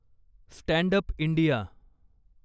stand up India